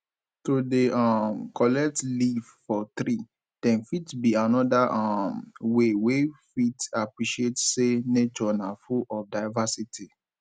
to dey um collect leave for tree dem fit be another um way wey fit appreciate sey nature na full of diversity